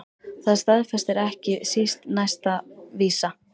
Það staðfestir ekki síst næsta vísa